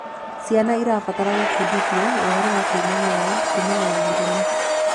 Ciana irabatara gubundithio ũhoro wa kwimenyerera kumana na mĩrimũ